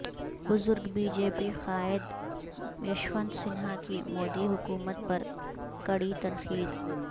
بزرگ B J P قائد یشونت سنہا کی مودی حکومت پر کڑی تنقید